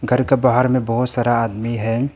घर के बाहर में बहुत सारा आदमी है।